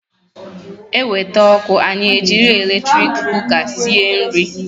E wete ọkụ anyị e jiri eletrik kuka sie nri